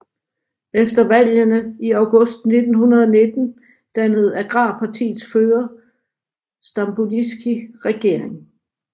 Efter valgene i august 1919 dannede agrarpartiets fører Stamboliski regering